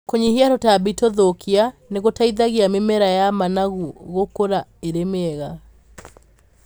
Kũnyihia tũtambi tũthũkia nĩgũteithagia mĩmera ya managu gũkũra ĩrĩ mĩega.